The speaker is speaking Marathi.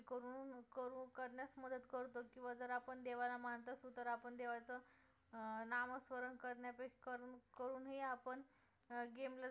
किंवा जर आपण पण देवाला मानत असू तर आपण देवाचं अं नाम स्मरण करण्यापेक्षा करून करूनही आपण अं game ला जर सुरु